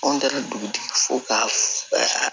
Anw taara dugutigi fo ka